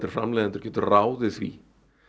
framleiðendur geta ráðið því